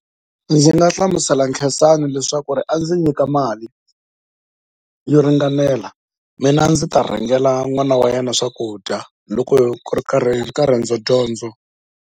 Ndzi nga hlamusela Khensani leswaku a ndzi nyika mali yo ringanela mina ndzi ta rhengela n'wana wa yena swakudya loko ku ri kka riendzodyondzo.